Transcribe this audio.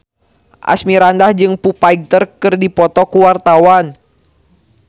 Asmirandah jeung Foo Fighter keur dipoto ku wartawan